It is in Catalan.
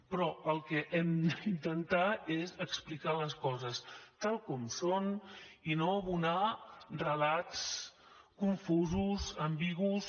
però el que hem d’intentar és explicar les coses tal com són i no abonar relats confusos ambigus